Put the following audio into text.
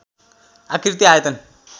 आक्रिति आयतन